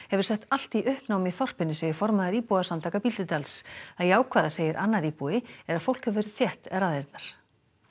hefur sett allt í uppnám í þorpinu segir formaður íbúasamtaka Bíldudals það jákvæða segir annar íbúi er að fólk hefur þétt raðirnar